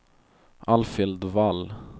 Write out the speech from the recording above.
Alfhild Wall